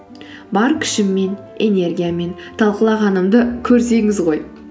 бар күшіммен энергиямен талқылағанымды көрсеңіз ғой